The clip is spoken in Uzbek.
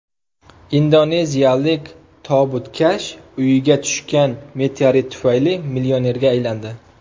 Indoneziyalik tobutkash uyiga tushgan meteorit tufayli millionerga aylandi .